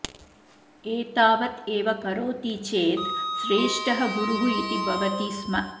एतावत् एव करोति चेत् श्रेष्ठः गुरुः इति भवति स्म